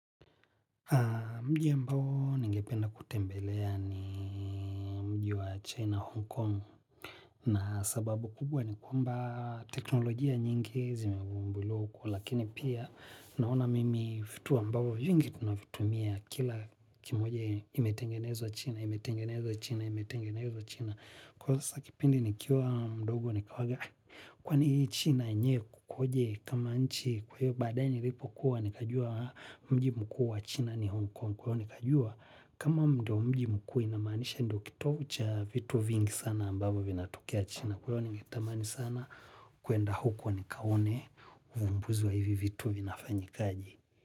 Mji ambao ningependa kutembelea ni mji wa China Hong Kong na sababu kubwa ni kwamba teknolojia nyingi zimefumbu liwa huku lakini pia naona mimi vitu ambavyo vingi tunavitumia kila kimoje imetengenezwa China imetengenezwa China imetengenezwa China kwa sasa kipindi nikiwa mdogo nikawaga kwani China yenyewe kukoje kama nchi kwa hiyo badae nilipo kuwa nikajua mji mkuu wa China ni Hong Kong kwa hiyo nikajua kama ndo mji mkuu inamaanisha ndo kitovu cha vitu vingi sana ambavyo vinatokea China. Kwa hivyo ningetamani sana kuenda huko nikaone uvumbuzu wa hivi vitu vinafanyikaje.